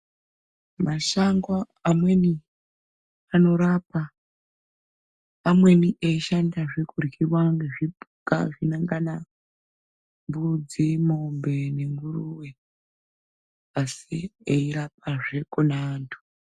Mashango amweni anorapa amweni eishandazve kuryiwa ngezvipuka zvinongana mbudzi mwombe nenguruwe asi eirapazve kune anhu.